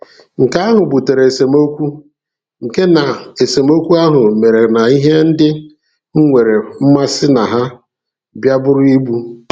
Nke ahụ butere esemokwu, nke na esemokwu ahụ mere na ihe ndị m nwere mmasị na ha bịa bụrụ ibu..